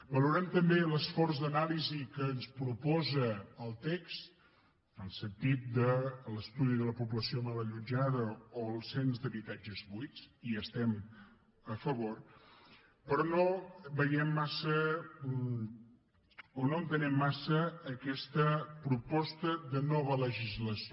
valorem també l’esforç d’anàlisi que ens proposa el text en el sentit de l’estudi de la població mal allotjada o el cens d’habitatges buits hi estem a favor però no veiem massa o no entenem massa aquesta proposta de nova legislació